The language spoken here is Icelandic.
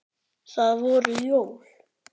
Það voru jól.